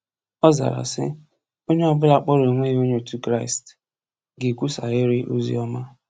Ọ zara sị: “Onye ọbụla kpọrọ onwe ya onye otu Kraịst ga-ekwusarịrị oziọma.